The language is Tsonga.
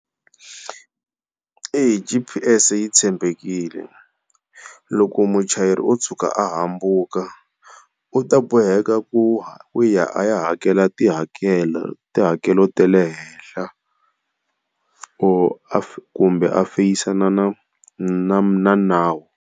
Eya G_P_S yi tshembekile, loko muchayeri o tshuka a hambuka u ta boheka ku ya a ya hakela tihakelo, tihakelo ta le henhla or kumbe a feyisana na na nawu.